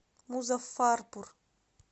музаффарпур